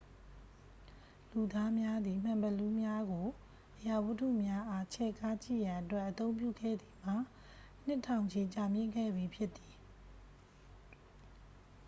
လူသာများသည် မှန်ဘီလူးများကို အရာဝတ္ထုများအား ချဲ့ကားကြည့်ရန်အတွက် အသုံးပြုခဲ့သည်မှာ နှစ်ထောင်ချီကြာမြှင့်ခဲ့ပြီဖြစ်သည်